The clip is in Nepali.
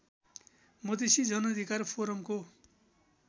मधेसी जनाधिकार फोरमको